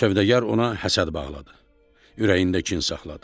Sövdəgər ona həsəd bağladı, ürəyində kin saxladı.